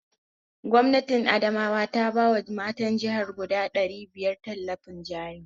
Gwamnatin Adamawa ta ba wa matan jihar guda ɗari biyar tallafin jari